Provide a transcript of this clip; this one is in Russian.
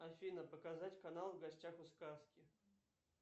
афина показать канал в гостях у сказки